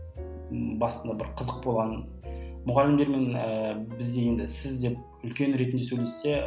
ммм басында бір қызық болған мұғалімдермен ііі біз енді сіз деп үлкен ретінде сөйлессе